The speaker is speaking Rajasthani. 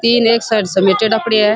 तीन एक साइड समेटेडा पड़ेया है।